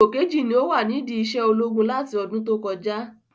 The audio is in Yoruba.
Ipò keji ni o wa nidi isé ológun láti ọdún tó kọjá